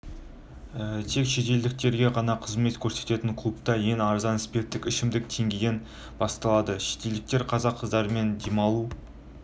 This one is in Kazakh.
тек шетелдіктерге ғана қызмет көрсететін клубта ең арзан спирттік ішімдік теңгеден басталады шетелдіктер қазақ қыздарымен демалу